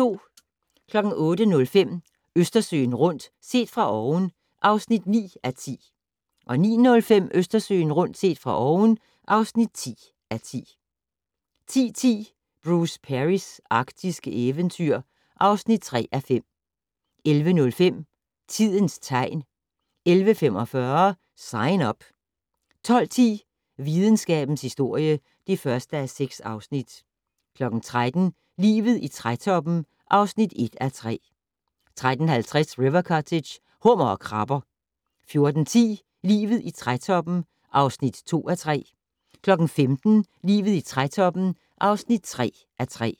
08:05: Østersøen rundt - set fra oven (9:10) 09:05: Østersøen rundt - set fra oven (10:10) 10:10: Bruce Perrys arktiske eventyr (3:5) 11:05: Tidens tegn 11:45: Sign Up 12:10: Videnskabens historie (1:6) 13:00: Livet i trætoppen (1:3) 13:50: River Cottage - Hummer og krabber 14:10: Livet i trætoppen (2:3) 15:00: Livet i trætoppen (3:3)